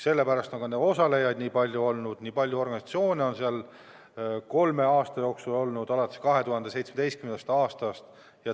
Sellepärast on ka neid osalejaid nii palju olnud, nii palju organisatsioone on kolme aasta jooksul oma sõna öelnud 2017. aastast.